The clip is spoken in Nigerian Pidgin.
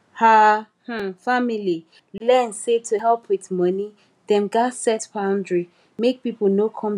her um family learn say to help with money dem gats set boundary make people no come depend forever